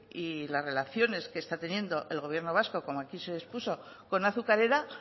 y la relaciones que está teniendo el gobierno vasco como aquí se expuso con azucarera